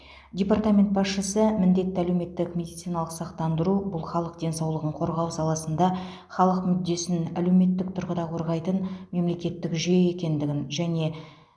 департамент басшысы міндетті әлеуметтік медициналық сақтандыру бұл халық денсаулығын қорғау саласында халық мүддесін әлеуметтік тұрғыда қорғайтын мемлекеттік жүйе екендігін және